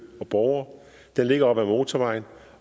og borgere den ligger op ad motorvejen